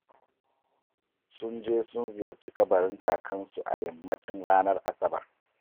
Sun je sun ziyarci kabarin Kakansu a yammacin ranar Asabar